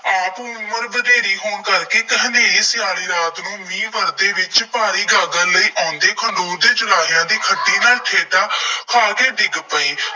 ਆਪ ਉਮਰ ਵਧੇਰੀ ਹੋਣ ਕਰਕੇ ਇੱਕ ਹਨੇਰੀ ਕਾਲੀ ਰਾਤ ਨੂੰ ਮੀਂਹ ਵਰ੍ਹਦੇ ਵਿੱਚ ਭਾਰੀ ਗਾਗਰ ਲਈ ਆਉਂਦੇ, ਖਡੂਰ ਦੇ ਚੁਰਾਹਿਆਂ ਦੇ ਖੱਡੇ ਨਾਲ ਠੇਡਾ ਖਾ ਕੇ ਡਿੱਗ ਪਏ।